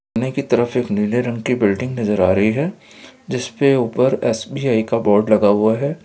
तरफ एक नीले रंग की एक बिल्डिंग नजर आ रही हैं जिसके ऊपर एस.बी.आई का बोर्ड लगा हुआ हैं।